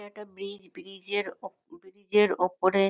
এটা একটা bridge. Bridge -এর উপ ব্রিজ এর উপরে--